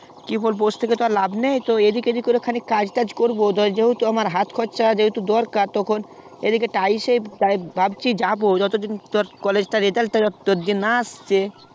কি বলবো বসে থেকে তো আর লাভ নেই যেহেতু আমার হাত খরচ একটু দরকার তখন এই দিকে টাইসএ ভাবছি যাবো যত দিন college টার result না আসছে